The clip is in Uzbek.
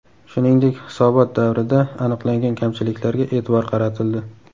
Shuningdek, hisobot davrida aniqlangan kamchiliklarga e’tibor qaratildi.